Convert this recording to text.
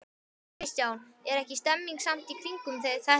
Kristján: Er ekki stemning samt í kringum þetta?